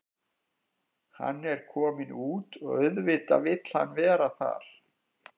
Hann er kominn út og auðvitað vill hann vera þar.